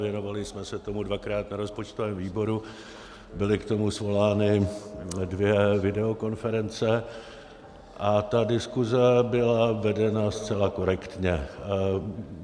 Věnovali jsme se tomu dvakrát na rozpočtovém výboru, byly k tomu svolány dvě videokonference a ta diskuze byla vedena zcela korektně.